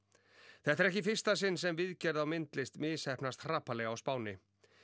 þetta er ekki í fyrsta sinn sem viðgerð á myndlist misheppnast hrapallega á Spáni